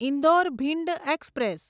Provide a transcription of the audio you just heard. Indore Bhind express